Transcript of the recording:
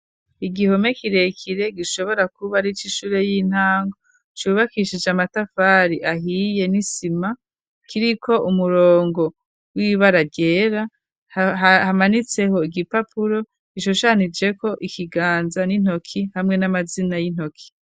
Igihome kirekire gishobora kuba arico ishure y'intango cubakishije amatafari ahiye n'isima kiriko umurongo w'ibara ryera hamanitseho igipapuro gishushanije ko ikiganza n'intoki hamwe n'amazina y'intoki.